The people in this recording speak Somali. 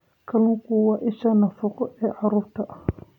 Kalluunku waa isha nafaqo ee carruurta.